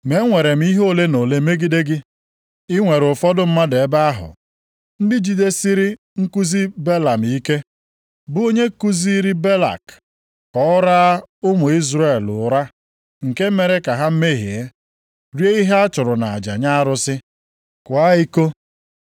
Ma enwere m ihe ole ma ole megide gị. I nwere ụfọdụ mmadụ ebe ahụ, ndị jidesiri nkuzi Belam ike, bụ onye kuziiri Balak ka o raa ụmụ Izrel ụra nke mere ka ha mehie, rie ihe a chụrụ nʼaja nye arụsị, kwaakwa iko. + 2:14 Ọ bụ Belam kuziri Balak ụzọ ọ ga-esi rara ndị Izrel nye na nnupu isi megide iwu Chineke nyere ha banyere ife arụsị, nʼakwụkwọ \+xt Ọnụ 31:15-16\+xt*, ịkwa iko na ịlụ di maọbụ nwunye site na mba ọzọ. Iwu ndị a dị nʼakwụkwọ \+xt Dit 7:3-11\+xt*.